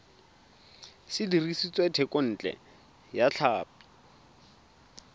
se dirisitswe thekontle ya tlhapi